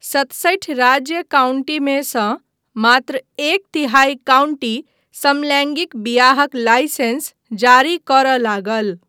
सतसठि राज्य काउंटीमे सँ मात्र एक तिहाई काउंटी समलैंगिक बियाहक लाइसेंस जारी करय लागल।